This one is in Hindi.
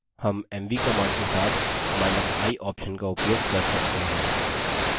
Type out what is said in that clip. हम mv command के साथi option का उपयोग कर सकते हैं